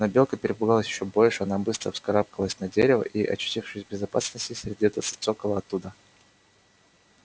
но белка перепугалась ещё больше она быстро вскарабкалась на дерево и очутившись в безопасности сердито зацокала оттуда